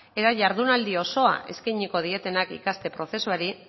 eta jardunaldi osoa eskainiko dietenak ikaste prozesuari